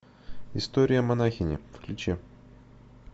история монахини включи